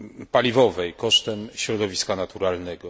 paliwowej, kosztem środowiska naturalnego.